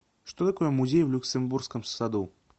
что такое музей в люксембургском саду